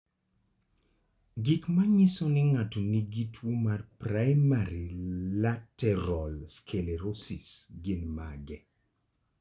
Gik manyiso ni ng'ato nigi tuwo mar primary lateral sclerosis gin mage?